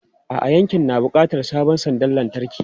A'a, yankin na buƙatar sabon sandar lantarki.